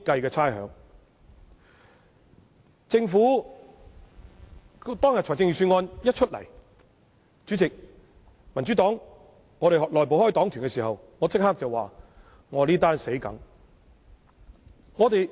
在政府公布預算案的當日，民主黨內部開黨團會議，我當時立即說這次死定了。